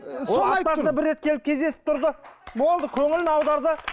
бір рет келіп кездесіп тұрды болды көңілін аударды